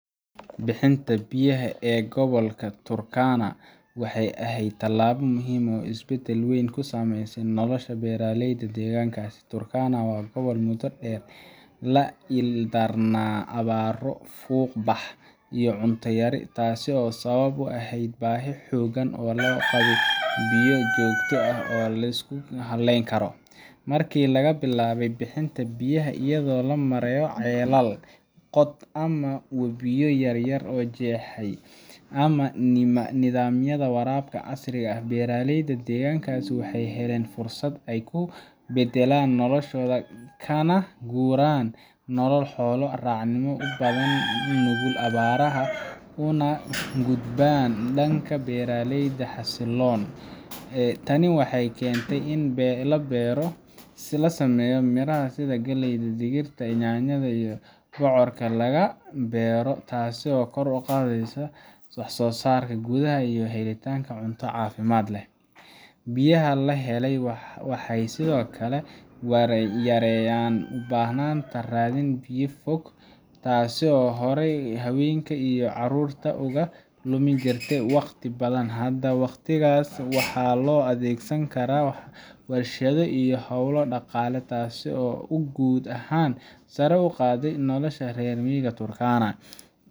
Bixinta biyaha ee gobolka Turkana waxay ahayd tallaabo muhiim ah oo isbeddel weyn ka sameysay nolosha beeraleyda deegaankaas. Turkana waa gobol muddo dheer la ildarnaa abaaro, fuuq-bax, iyo cunto yari, taasoo sabab u ahayd baahi xooggan oo loo qabo biyo joogto ah oo la isku halayn karo. Markii laga bilaabay bixinta biyaha iyada oo loo marayo ceelal qod ah, webiyo yar yar la jeexay, ama nidaamyada waraabka casriga ah, beeraleyda deegaanka waxay heleen fursad ay ku beddelaan noloshooda, kana guuraan nolol xoolo raacnimo u badan oo nugul abaaraha, una gudbaan dhanka beeraleyda xasilloon. Tani waxay keentay in beero la sameeyo, miraha sida galleyda, digirta, yaanyada, iyo bocorka laga beero, taasoo kor u qaaday wax-soo-saarka gudaha iyo helitaanka cunto caafimaad leh. Biyaha la helay waxay sidoo kale yareeyeen u baahnaanta raadin biyo fog fog, taasoo horay haweenka iyo carruurta uga lumi jirtay waqti badan. Hadda waqtigaas waxaa loo adeegsan karaa waxbarasho iyo hawlo dhaqaale, taas oo guud ahaan sare u qaadday nolosha reer miyiga Turkana.